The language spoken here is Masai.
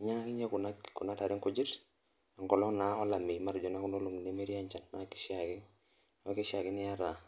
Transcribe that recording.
ninyiangaki Kuna tare nkujit. enkolong' naa olameyu, atejo naa Kuna olong'i nemetii enchan, kishaa ake, neeku kishaa ake niata.